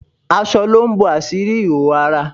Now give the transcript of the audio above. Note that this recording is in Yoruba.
Aṣọ lo ń bàsírí ìhòòhò ara